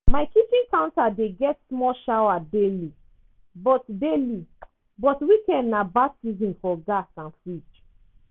my kitchen counter dey get small shower daily but daily but weekend na baptism for gas and fridge.